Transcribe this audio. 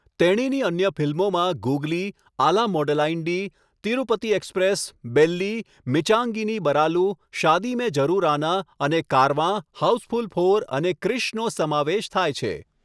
તેણીની અન્ય ફિલ્મોમાં ગુગલી, આલા મોડલાઇન્ડી, તિરુપતિ એક્સપ્રેસ, બેલ્લી, મિંચાગી ની બરાલુ, શાદી મેં જરુર આના, અને કારવાં , હાઉસફુલ ફોર અને ક્રિશનો સમાવેશ થાય છે.